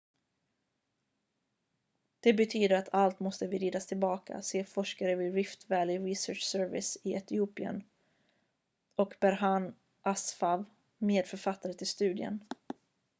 """det betyder att allt måste vridas tillbaka" säger forskare vid rift valley research service i etiopien och berhane asfaw medförfattare till studien.